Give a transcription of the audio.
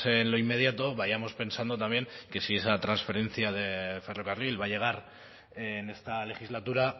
en lo inmediato vayamos pensando también que si esa transferencia de ferrocarril va a llegar en esta legislatura